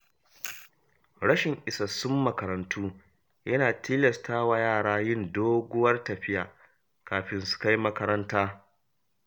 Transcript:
Rashin isassun makarantu yana tilasta wa yara yin doguwar tafiya kafin su kai makaranta.